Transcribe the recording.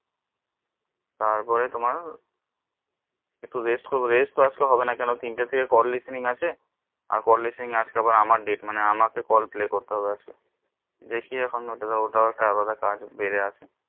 তারপরে তোমার একটু rest করবো rest তো আজকে হবে না কোনো তিন টা থেকে call listening আছে call listening আজকে আবার আমার date মানে আমাকে call play করতে হবে আজকে দেখি এখন ওটা ও একটা আলাদা কাজ বেড়ে আছে